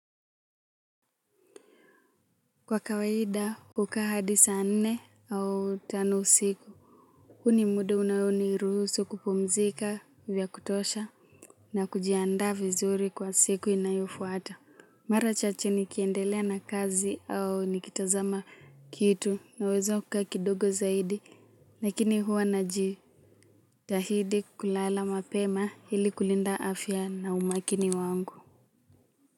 Kwa kawaida hukukaa hadi saa nne au tano usiku huu ni muda unao ni ruhusu kupumzika vya kutosha na kujianda vizuri kwa siku inayofuata mara chache nikiendelea na kazi au nikitazama kitu naweza kukaa kidogo zaidi lakini huwa najitahidi kulala mapema ili kulinda afya na umakini wangu.